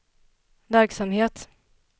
verksamhet